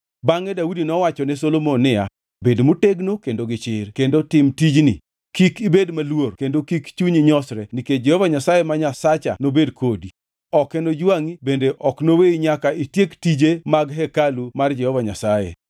Bangʼe Daudi nowachone Solomon niya, “Bed motegno kendo gichir kendo tim tijni. Kik ibed maluor kendo kik chunyi nyosre nikech Jehova Nyasaye ma Nyasacha nobed kodi. Ok enojwangʼi bende ok noweyi nyaka itiek tije mag hekalu mar Jehova Nyasaye.”